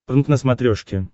прнк на смотрешке